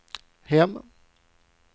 hem